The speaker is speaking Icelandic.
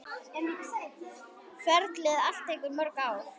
Ferlið allt tekur mörg ár.